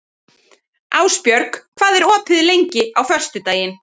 Ásbjörg, hvað er opið lengi á föstudaginn?